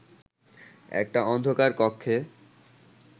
একটা অন্ধকার কক্ষে